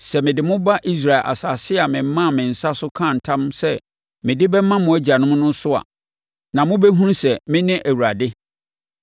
Sɛ mede mo ba Israel asase a memaa me nsa so kaa ntam sɛ mede bɛma mo agyanom so a, na mobɛhunu sɛ mene Awurade.